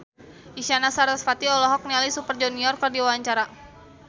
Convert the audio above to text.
Isyana Sarasvati olohok ningali Super Junior keur diwawancara